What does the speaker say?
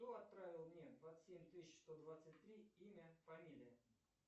кто отправил мне двадцать семь тысяч сто двадцать три имя фамилия